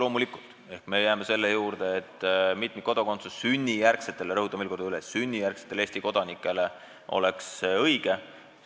Loomulikul me jääme selle juurde, et mitmikkodakondsus sünnijärgsetele – rõhutan veel kord üle: sünnijärgsetele – Eesti kodanikele oleks õige.